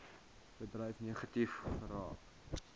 bedryf negatief raak